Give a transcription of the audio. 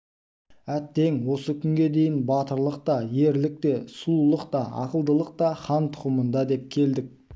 әттең осы күнге дейін батырлық та ерлік те сұлулық та ақылдылық та хан тұқымында деп келдік